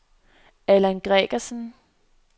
Allan Gregersen